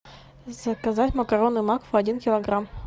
заказать макароны макфа один килограмм